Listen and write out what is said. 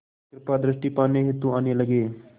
कृपा दृष्टि पाने हेतु आने लगे